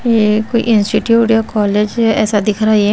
ये कोई इंस्टीट्यूट या कॉलेज है ऐसा दिख रहा ये।